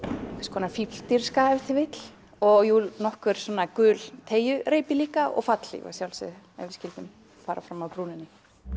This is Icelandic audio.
konar fífldirfska ef til vill og jú nokkur gul líka og fallhlíf að sjálfsögðu ef við skyldum fara fram af brúninni